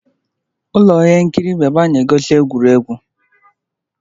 Ụlọ ihe nkiri bụ ebe a na-egosi egwuregwu.